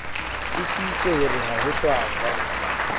tiisitse hore ha ho hlwahlwa